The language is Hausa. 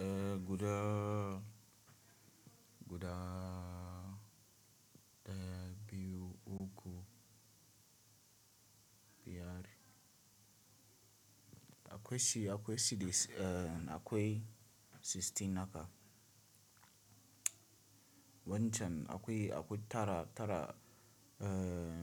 Eh guda guda daya biyu uku biyar akwai shi akwai shi akwai 16 naka wancan akwai akwai tara tara eh